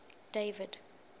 david